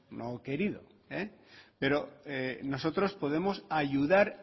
no querido pero nosotros podemos ayudar